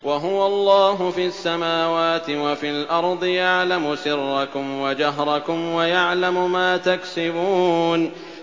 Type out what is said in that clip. وَهُوَ اللَّهُ فِي السَّمَاوَاتِ وَفِي الْأَرْضِ ۖ يَعْلَمُ سِرَّكُمْ وَجَهْرَكُمْ وَيَعْلَمُ مَا تَكْسِبُونَ